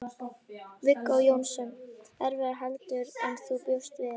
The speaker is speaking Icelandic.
Viggó Jónsson: Erfiðara heldur en þú bjóst við?